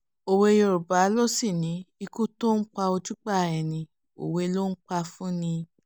òwe yorùbá ló sì ní ikú tó ń pa ojúgbà ẹni òwe ló ń pa fún ni